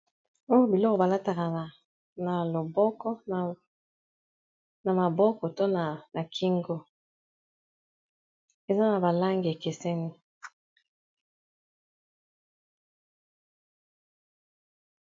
Oyo biloko balataka na maboko to na kingo, eza na ba langi ekeseni.